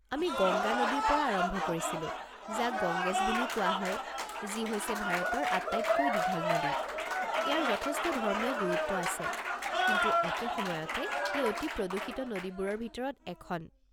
আমি গংগা নদীৰ পৰা আৰম্ভ কৰিছিলোঁ, যাক গংগেছ বুলিও কোৱা হয়, যি হৈছে ভাৰতৰ আটাইতকৈ দীঘল নদী, ইয়াৰ যথেষ্ট ধৰ্মীয় গুৰুত্ব আছে, কিন্তু একে সময়তে, ই অতি প্ৰদূষিত নদীবোৰৰ ভিতৰত এখন।